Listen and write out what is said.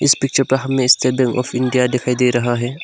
Picture पर हमें state bank of India दिखाई दे रहा है।